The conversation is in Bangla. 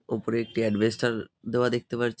ওপরে একটি এডভেস্টার দেয়া দেখতে পারছি।